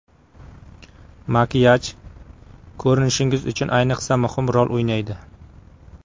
Makiyaj ko‘rinishingiz uchun ayniqsa muhim rol o‘ynaydi.